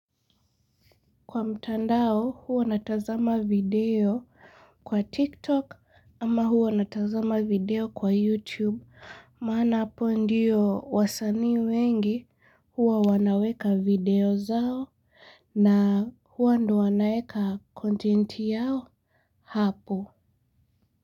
Kwa mtandao huwa natazama video kwa tiktok ama huwa natazama video kwa youtube maana hapo ndio wasanii wengi huwa wanaweka video zao. Na huwa ndio wanaeka content yao hapo.